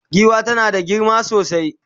giwa tana da girma sosai